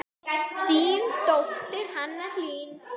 Þín dóttir, Hanna Hlín.